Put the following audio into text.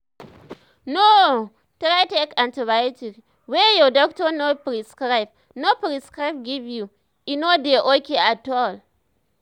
no um try take antibiotic wey your doctor no prescribe no prescribe give you e no de okay at all